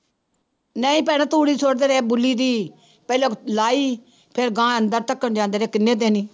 ਨਹੀਂ ਭੈਣਾ ਤੂੜੀ ਬੁਲੀ ਦੀ ਪਹਿਲਾਂ ਲਾਈ ਫਿਰ ਗਾਂਹ ਏਦਾਂ ਧੱਕਣ ਜਾਂਦੇ ਦੇ ਕਿੰਨੇ ਦਿਨ ਹੀ।